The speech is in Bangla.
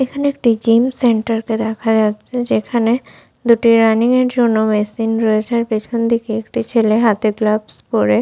এখানে একটি জিম সেন্টার দেখা যাচ্ছে। যেখানে দুটি রানিংয়ের জন্য মেশিন রয়েছে। পেছনদিকে একটি ছেলে হাতে গ্লাভস পরে--